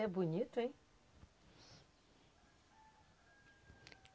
É bonito, hein?